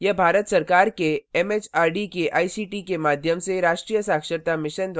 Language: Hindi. यह भारत सरकार के एमएचआरडी के आईसीटी के माध्यम से राष्ट्रीय साक्षरता mission द्वारा समर्थित है